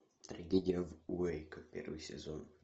трагедия в уэйко первый сезон